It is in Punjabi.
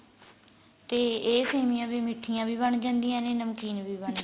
ਤੇ ਇਹ ਸੇਮੀਆਂ ਵੀ ਮਿਠੀਆਂ ਵੀ ਬਣ ਜਾਂਦੀਆਂ ਨੇ ਨਮਕੀਨ ਵੀ ਬਣ